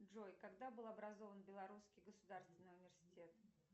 джой когда был образован белорусский государственный университет